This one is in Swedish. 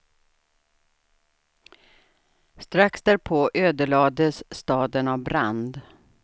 Strax därpå ödelades staden av brand.